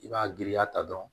I b'a giriya ta dɔrɔn